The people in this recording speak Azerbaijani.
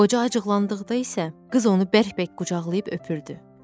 Qoca acıqlandıqda isə qız onu bərk-bərk qucaqlayıb öpürdü.